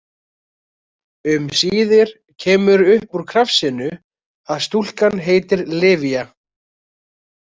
Um síðir kemur upp úr krafsinu að stúlkan heitir Livia.